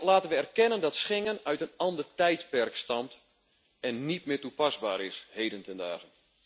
Laten we erkennen dat Schengen uit een ander tijdperk stamt en niet meer toepasbaar is heden ten dage.